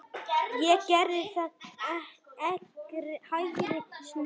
Ég gerði það, hægri snú.